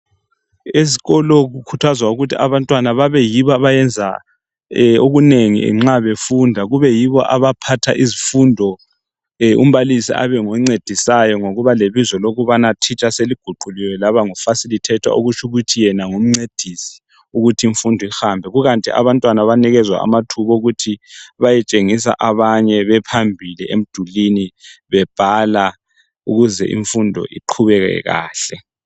Esikolo kukhuthazwa ukuthi abantwana babeyibo abenza okunengi, nxa befunda. Kube yibo abaphatha izifundo, umbalisi abe ngoncedisayo. Ngokuba lebizo elokubanateacher, seliguquliwe, laba ngufacilitator, okutsho ukuthi yena ngumncedisi. ukuze imfundo ihambe. Kukanti abantwana yibo abanikezwa amathuba bephambili, bebhala ukuze imfundo iqhubeke kahle.